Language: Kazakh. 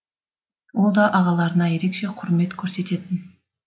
ол да ағаларына ерекше құрмет көрсететін